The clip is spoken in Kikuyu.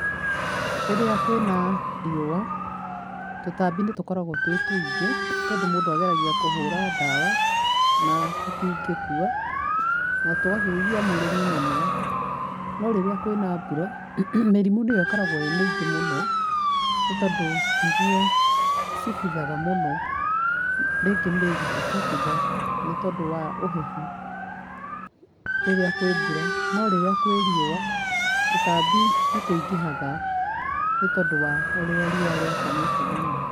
Rĩrĩa kwĩna riua, tũtambi nĩ tũkoragwo twĩ tũingĩ, tondũ mũndũ ageragia kũhũra ndawa na tũtingĩkua, na tũgakĩgia mũrĩmi mũno. No rĩrĩa kwĩna mbura, mĩrimũ niyo ĩkoragwo ĩ mĩingĩ mũno, nĩ tondũ nĩrio cibuthaga mũno. Rĩngĩ mĩri igabũtha nĩ tondũ wa ũhehu, rĩrĩa kwĩ mbura, no rĩrĩa kwĩ riua tũtambi nĩ tũingĩhaga nĩ tondũ wa ũrĩa riua rĩakanĩte mũno.